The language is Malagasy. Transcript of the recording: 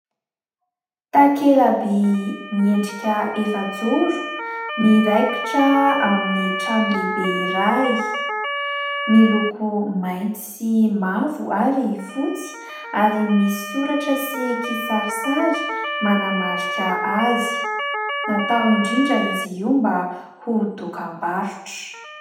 Takelaby miendrika efajoro, miraikitra amin'ny trano lehibe iray. Miloko mainty sy mavo ary fotsy ary misy soratra sy kisarisary manamarika azy. Natao indrindra izy io mba ho dokam-barotra.